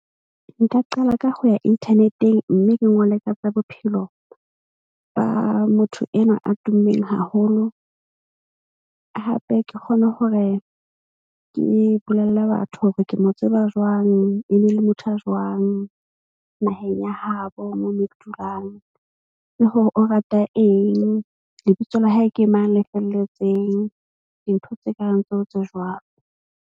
Nka qala ka ho ya internet-eng mme ke ngole tsa bophelo ba motho enwa a tummeng haholo. Hape ke kgone hore ke bolelle batho hore ke mo tseba jwang. E ne le motho a jwang naheng ya habo moo mo ke dulang le hore o rata eng, lebitso la hae ke mang le felletseng dintho tse kareng tseo tse jwang.